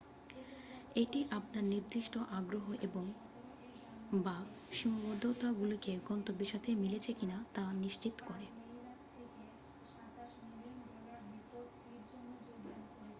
এটি আপনার নির্দিষ্ট আগ্রহ এবং/বা সীমাবদ্ধতাগুলিকে গন্ত্যব্যের সাথে মিলেছে কিনা তা নিশ্চিত করে।